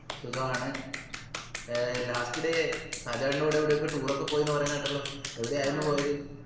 സുഖമാണ് ഏർ last day ഷാജാൻ്റെ കൂടെ എവിടൊക്കെ tour ഒക്കെ പോയിന്ന് പറയുന്ന കേട്ടല്ലോ എവിടെയായിരുന്നു പോയത്